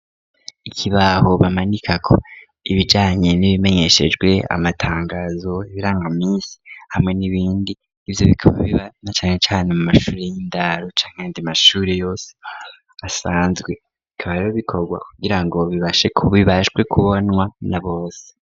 Ikibaho bamanikako ibijanye n'ibimenyeshejwe amatangazo ibiranga misi hamwe n'ibindi ivyo bikome biba na canecane mu mashuri y'indaro canke andi mashuri yose asanzwe ikaba rirobikorwa kugira ngo bibashe kubbibashwe kubonwa na bose.